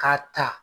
K'a ta